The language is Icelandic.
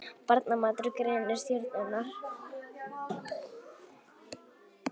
Barnamatur grennir stjörnurnar